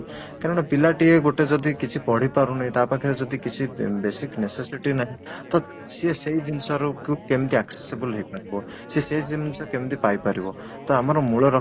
କାରଣ ପିଲା ଟିଏ ଗୋଟେ ଯଦି କିଛି ପଢିପାରୁନି ତା ପାଖରେ ଯଦି କିଛି basic necessity ନାହିଁ ତ ସିଏ ସେଇ ଜିନିଷ ରୁ କେମିତି accessible ହେଇପାରିବ ସିଏ ସେଇ ଜିନିଷ କେମିତି ପାଇପାରିବ ତ ଆମର ମୂଳ ଲକ୍ଷ୍ୟ